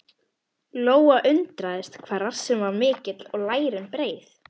Lóa undraðist hvað rassinn var mikill og lærin breið.